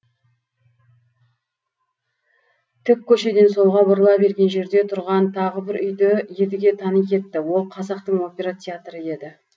тік көшеден солға бұрыла берген жерде тұрған тағы бір үйді едіге тани кетті ол қазақтың опера театры еді